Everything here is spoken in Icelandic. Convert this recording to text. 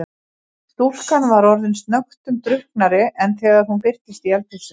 Stúlkan var orðin snöggtum drukknari en þegar hún birtist í eldhúsinu.